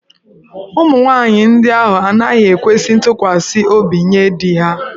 Ụmụ nwaanyị ndị ahụ anaghị ekwesi ntụkwasị obi nye di ha.